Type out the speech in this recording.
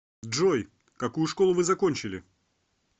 джой какую школу вы закончили